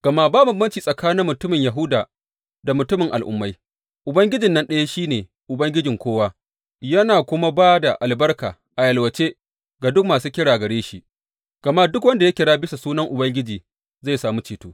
Gama ba bambanci tsakanin mutumin Yahuda da mutumin Al’ummai, Ubangijin nan ɗaya shi ne Ubangijin kowa yana kuma ba da albarka a yalwace ga duk masu kira gare shi, gama, Duk wanda ya kira bisa sunan Ubangiji zai sami ceto.